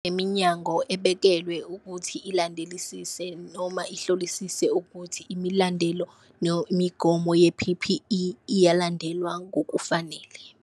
Iminyango ebekelwe ukuthi ilandelisise noma ihlolisise ukuthi imilandelo imigomo ye-P_P_E iyalandelwa ngokufanele.